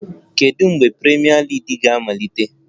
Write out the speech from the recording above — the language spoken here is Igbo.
Kedu mgbe Premier League ga-amalite?